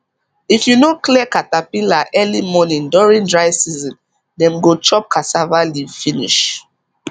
if you no clear caterpillar early morning during dry season dem go chop cassava leaf finish